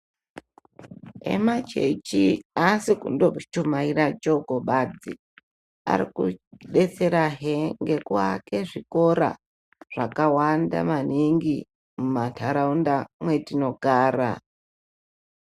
Emachechi, aasi kundo chumaira shoko basi, ariku detsera he ngekuake zvikora zvakawanda maningi muma ntaraunda mwatinogara.